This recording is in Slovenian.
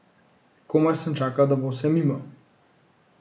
Komaj sem čakal, da bo vse mimo.